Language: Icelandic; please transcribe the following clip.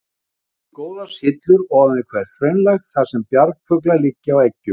Myndast því góðar syllur ofan við hvert hraunlag, þar sem bjargfuglar liggja á eggjum.